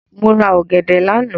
Mo rà ọ̀gẹ̀dẹ̀ lánàá.